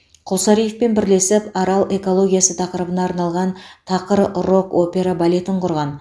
құлсариевпен бірлесіп арал экологиясы тақырыбына арналған тақыр рок операбалетін құрған